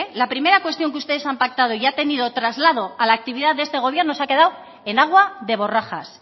la primera cuestión que ustedes han pactado y ha tenido traslado a la actividad de este gobierno se ha quedado en agua de borrajas